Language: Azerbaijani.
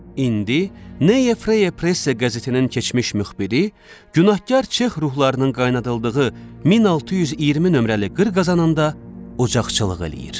İndi Neye Freye Presse qəzetinin keçmiş müxbiri günahkar Çex ruhlarının qaynadıldığı 1620 nömrəli qır qazanında ocaqçılıq eləyir.